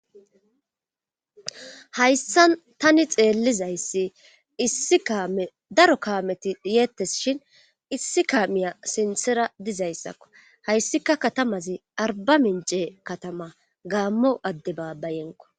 Hayssan tani xeellizayssi isidaro kaameti yeettes shin issi kaamiya sinthera dizayssakko hayssika katamazi arba mince katama gaammo adde baabbayenko.